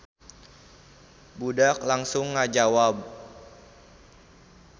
Budak langsung ngajawab.